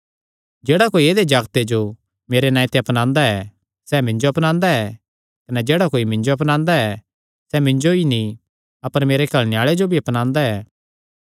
जेह्ड़ा कोई ऐदेय जागते जो मेरे नांऐ ते अपनांदा ऐ सैह़ मिन्जो अपनांदा ऐ कने जेह्ड़ा कोई मिन्जो अपनांदा ऐ सैह़ मिन्जो नीं अपर मेरे घल्लणे आल़े जो अपनांदा ऐ